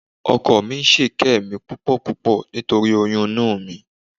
Ọkọ mi ń kẹ́ mi púpọ̀púpọ̀ nítorí oyún inú mi